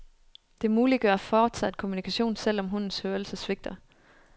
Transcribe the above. Det muliggør fortsat kommunikation, selv om hundens hørelse svigter.